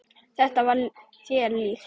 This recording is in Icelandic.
Þetta var þér líkt.